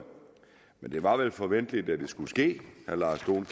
men det var vel forventeligt at det skulle ske herre lars dohn